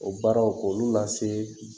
O baaraw k'olu lase